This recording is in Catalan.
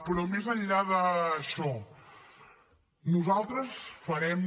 però més enllà d’això nosaltres farem